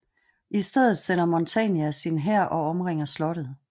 I stedet sender Montania sin hær og omringer slottet